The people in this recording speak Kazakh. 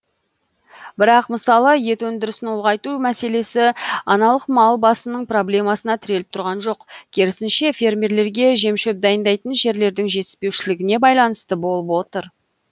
бірақ мысалы ет өндірісін ұлғайту мәселесі аналық мал басының проблемасына тіреліп тұрған жоқ керісінше фермерлерге жем шөп дайындайтын жерлердің жетіспеушілігіне байланысты болып отыр